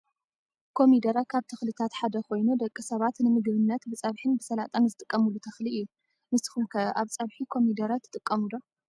ኮሚዴረ ካብ ተክልታት ሓደ ኮይኑ ደቂ ሰባት ንምግብነት ብፀብሒን ብሰላጣን ዝጥቀሙሉ ተክሊ እዩ። ንስኩም ከ ኣብ ፀብሒ ኮሚዴረ ትጥቀሙ ዶ ?